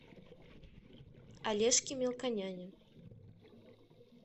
олежке мелконяне